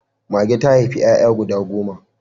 Mage ta haifi 'ya'ya guda goma.